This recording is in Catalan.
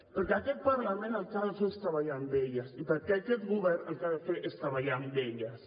perquè aquest parlament el que ha de fer és treballar amb elles i perquè aquest govern el que ha de fer és treballar amb elles